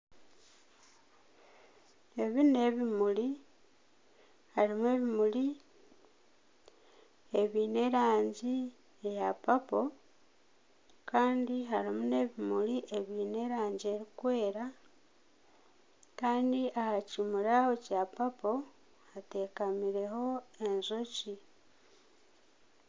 Ebi n'ebimuri harimu ebimuri ebyine erangi eya purple kandi harimu n'ebimuri ebyine erangi erikwera kandi aha kimuri aho ekya purple hateekamireho enjoki.